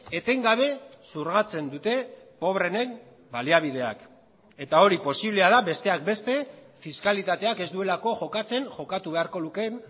etengabe xurgatzen dute pobreenen baliabideak eta hori posiblea da besteak beste fiskalitateak ez duelako jokatzen jokatu beharko lukeen